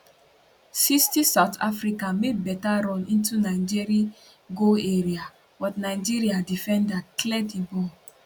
60south africa make beta run into nigeri goal area but nigeria defender clear di ball